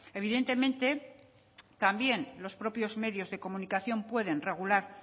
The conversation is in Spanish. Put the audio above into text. evidentemente también los propios medios de comunicación pueden regular